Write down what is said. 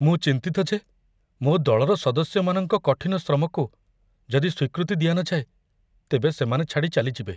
ମୁଁ ଚିନ୍ତିତ ଯେ ମୋ ଦଳର ସଦସ୍ୟମାନଙ୍କ କଠିନ ଶ୍ରମକୁ ଯଦି ସ୍ୱୀକୃତି ଦିଆ ନଯାଏ, ତେବେ ସେମାନେ ଛାଡ଼ି ଚାଲିଯିବେ।